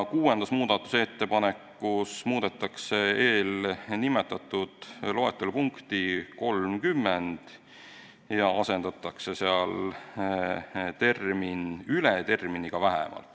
Kuuenda muudatusettepanekuga muudetakse eelnimetatud loetelu punkti 30 ja asendatakse seal sõna "üle" sõnaga "vähemalt".